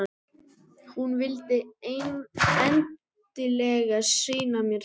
Hún vildi endilega sýna mér þau.